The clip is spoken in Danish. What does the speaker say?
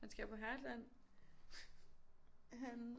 Han skal på Heartland han